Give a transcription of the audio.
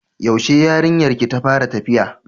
Yaushe yarinyar ki ta fara tafiya?